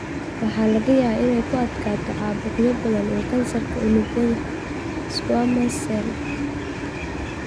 Waxaa laga yaabaa inay ku adkaato caabuqyo badan iyo kansarka unugyada squamous cell.